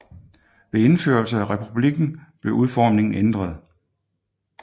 Ved indførelse af republikken blev udformingen ændret